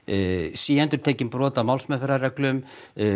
síendurtekin brot á málsmeðferðarreglum